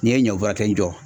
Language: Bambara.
N'i ye ɲɔ kelen jɔ